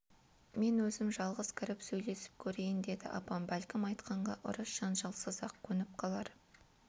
мен өзім жалғыз кіріп сөйлесіп көрейін деді апам бәлкім айтқанға ұрыс-жанжалсыз-ақ көніп қалар